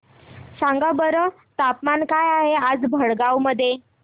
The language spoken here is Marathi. सांगा बरं तापमान काय आहे आज भडगांव मध्ये